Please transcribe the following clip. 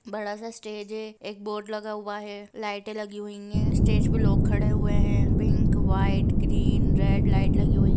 बड़ा सा स्टेज है एक बोर्ड लगा है लाइट लगी हुआ है स्टेज पर लोग खड़े है पिंक वाइट ग्रीन लाइट लगी हुए है।